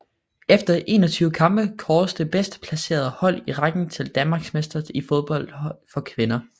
Efter 21 kampe kåres det bedstplacerede hold i rækken til Danmarksmester i fodbold for kvinder